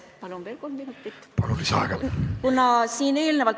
Palun, kolm minutit lisaaega!